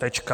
Tečka.